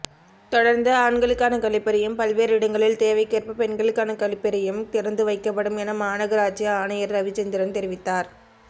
தொடர்ந்து ஆண்களுக்கான கழிப்பறையும் பல்வேறு இடங்களில் தேவைக்கேற்ப பெண்களுக்கான கழிப்பறையும் திறந்து வைக்கப்படும் என மாநகராட்சி ஆணையர் ரவிச்சந்திரன் தெரிவித்தார்